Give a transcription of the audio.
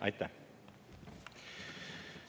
Aitäh!